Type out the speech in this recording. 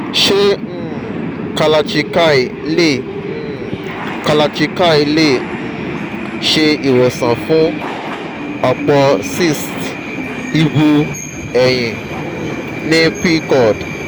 se um kalarchikai le um kalarchikai le um se iwosan fun opo cysts ibu eyin um ni pcod?